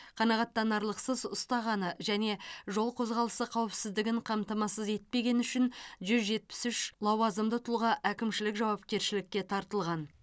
қанағаттанарлықсыз ұстағаны және жол қозғалысы қауіпсіздігін қамтамасыз етпегені үшін жүз жетпіс үш лауазымды тұлға әкімшілік жауапкершілікке тартылған